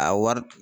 A wari